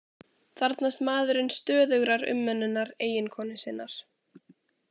Þarfnast maðurinn stöðugrar umönnunar eiginkonu sinnar